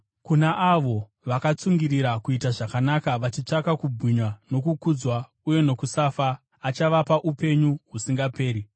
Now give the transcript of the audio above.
Kuna avo vakatsungirira kuita zvakanaka vachitsvaka kubwinya nokukudzwa uye nokusafa, achavapa upenyu husingaperi.